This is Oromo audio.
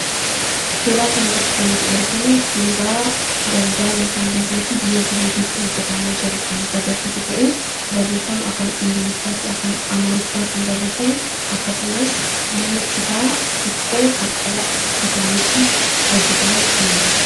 Suuraa kana irratti kan nuti arginu suuraa daldala ( bizinasii) biyya Jibuutiitti hojjetamaa jiru kan nutti agarsiisu ta'ee, barreeffama afaan Ingiliffaa fi afaan Amaariffaatiin barreeffame akkasumas mana citaa xiqqoo qarqara bishaaniitti hojjetame ni mul'isa.